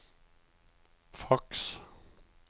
faks